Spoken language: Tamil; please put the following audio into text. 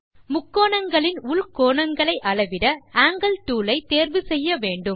முக்கோணங்களின் உள்கோணங்களை அளவிட ஆங்கில் டூல் ஐ தேர்வு செய்ய வேண்டும்